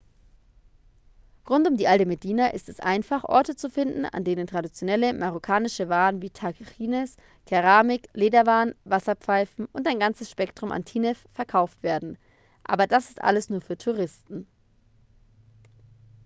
rund um die alte medina ist es einfach orte zu finden an denen traditionelle marokkanische waren wie tagines keramik lederwaren wasserpfeifen und ein ganzes spektrum an tinnef verkauft werden aber das ist alles nur für die touristen